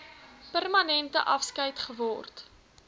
permanente afskeid geword